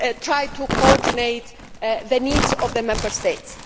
try to coordinate the needs of the Member States.